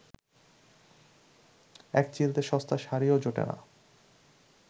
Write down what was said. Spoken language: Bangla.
একচিলতে সস্তা শাড়িও জোটে না